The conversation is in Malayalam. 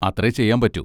അത്രേ ചെയ്യാൻ പറ്റൂ?